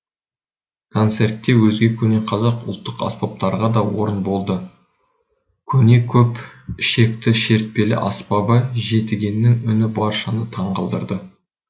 концертте өзге көне қазақ ұлттық аспаптарға да орын болды көне көп ішекті шертпелі аспабы жетігеннің үні баршаны таңғалдырды